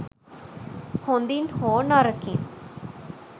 හොදින් හෝ නරකින්